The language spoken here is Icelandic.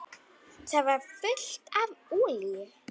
Það var fullt af olíu.